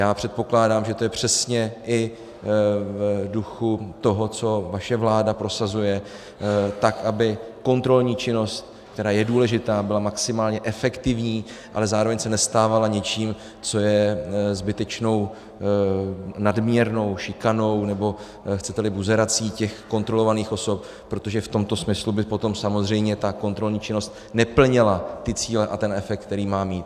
Já předpokládám, že to je přesně i v duchu toho, co vaše vláda prosazuje - aby kontrolní činnost, která je důležitá, byla maximálně efektivní, ale zároveň se nestávala něčím, co je zbytečnou nadměrnou šikanou, nebo chcete-li buzerací těch kontrolovaných osob, protože v tomto smyslu by potom samozřejmě ta kontrolní činnost neplnila ty cíle a ten efekt, který má mít.